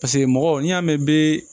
Paseke mɔgɔ n'i y'a mɛn bɛɛ